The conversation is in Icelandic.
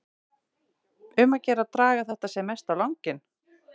Um að gera að draga þetta sem mest á langinn.